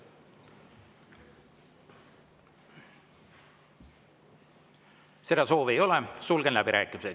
Seda soovi ei ole, sulgen läbirääkimised.